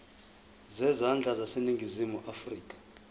zezandla zaseningizimu afrika